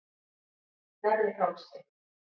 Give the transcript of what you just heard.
Neðri Hálsi